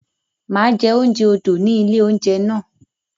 Mà á jẹ oúnjẹ odò ni ilé-oúnjẹ náà.